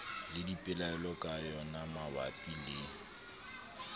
le dipelaelo ka yonamabapi le